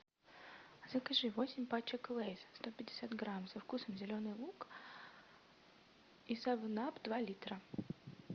закажи восемь пачек лейс сто пятьдесят грамм со вкусом зеленый лук и севен ап два литра